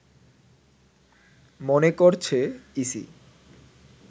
মনে করছে ইসি